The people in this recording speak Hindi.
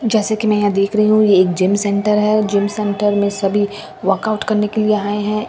जैसे की मैं यहां देख रही हूँ यह एक जिम सेंटर है और जिम सेंटर में सभी वर्कआउट करने के लिए आए है ।